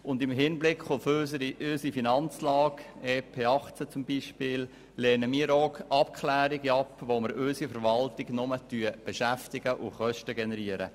Und im Hinblick auf unsere Finanzlage – beispielsweise auch auf das EP 2018 – lehnen wir zudem Abklärungen ab, mit welchen wir nur unsere Verwaltung beschäftigen und Kosten generieren.